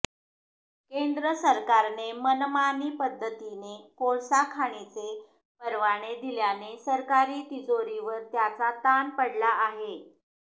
केंद्र सरकारने मनमानी पद्धतीने कोळसा खाणीचे परवाने दिल्याने सरकारी तिजोरीवर त्याचा ताण पडला आहे